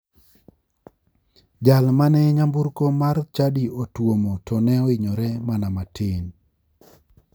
Jal mane nyamburko mar chadi otuomo to ne ohinyore mana matin.